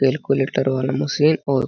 बिल्कुल ईटर वाला मशीन और --